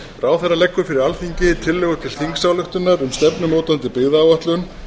ráðherra leggur fyrir alþingi tillögu til þingsályktunar um stefnumótandi byggðaáætlun